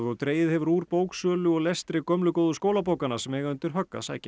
dregið hefur úr bóksölu og lestri gömlu góðu skólabókanna sem eiga undir högg að sækja